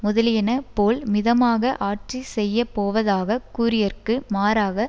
முதலியன போல் மிதமாக ஆட்சி செய்யப்போவதாகக் கூறியற்கு மாறாக